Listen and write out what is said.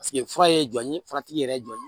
fura ye jɔn ye fura tigi yɛrɛ jɔn ye